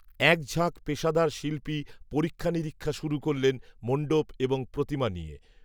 এক ঝাঁক পেশাদার শিল্পী পরীক্ষানিরীক্ষা শুরু করলেন, মণ্ডপ, এবং প্রতিমা নিয়ে